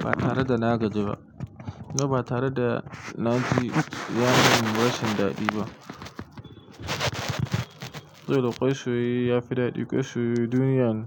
ba tare da na gaji ba. Gaba tare da naci ci, yanzu bashi da daɗi ba. Saboda kwai soyayya yafi daɗi. Kwai soyayye duniya ne.